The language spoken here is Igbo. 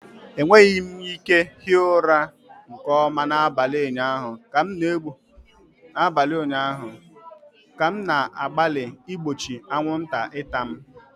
Enweghị m ike hie ụra nke ọma n'abalị ụnyaahụ ka m na-agbalị igbochi anwụnta ịta m.